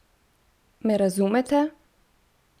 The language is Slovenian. Me razumete?